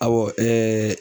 Awɔ ɛɛ